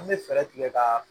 An bɛ fɛɛrɛ tigɛ ka